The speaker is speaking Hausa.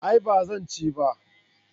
A'a ba zan ci ba